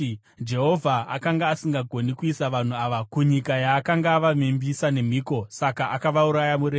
‘Jehovha akanga asingagoni kuisa vanhu ava kunyika yaakanga avavimbisa nemhiko; saka akavauraya murenje.’